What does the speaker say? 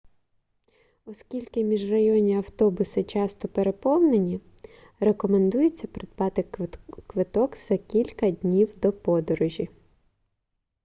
оскільки міжрайонні автобуси часто переповнені рекомендується придбати квиток за кілька днів до подорожі